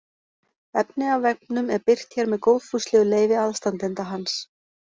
Efni af vefnum er birt hér með góðfúslegu leyfi aðstandenda hans.